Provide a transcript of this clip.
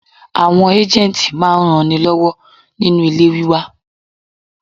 Àwọn ágéǹtì máa ń ran ni lọ́wọ́ nínu ilé wíwá.